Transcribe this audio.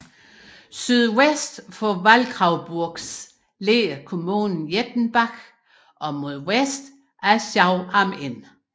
Sydvest for Waldkraiburgs ligger kommunen Jettenbach og mod vest Aschau am Inn